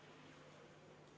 V a h e a e g